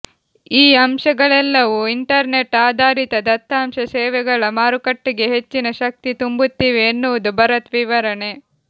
ಈ ಅಂಶಗಳೆಲ್ಲವೂ ಇಂಟರ್ನೆಟ್ ಆಧಾರಿತ ದತ್ತಾಂಶ ಸೇವೆಗಳ ಮಾರುಕಟ್ಟೆಗೆ ಹೆಚ್ಚಿನ ಶಕ್ತಿ ತುಂಬುತ್ತಿವೆ ಎನ್ನುವುದು ಭರತ್ ವಿವರಣೆ